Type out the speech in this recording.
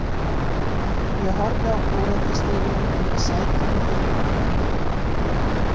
Ég horfi á kúrekastígvélin undir sætinu fyrir framan mig.